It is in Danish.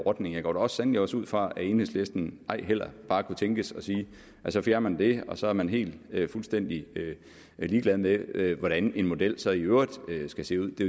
ordning jeg går da sandelig også ud fra at enhedslisten ej heller bare kunne tænkes at sige at man så fjerner det og så er man helt fuldstændig ligeglad med hvordan en model så i øvrigt skal se ud det